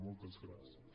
moltes gràcies